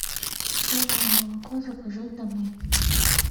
соевое молоко заказать домой